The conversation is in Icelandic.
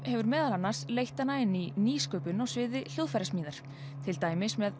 hefur meðal annars leitt hana inn í nýsköpun á sviði hljóðfærasmíðar til dæmis með